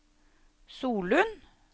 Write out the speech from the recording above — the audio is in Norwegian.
Solund